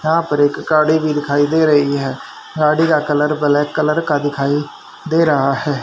यहां पर एक गाड़ी भी दिखाई दे रही है गाड़ी का कलर ब्लैक कलर का दिखाई दे रहा है।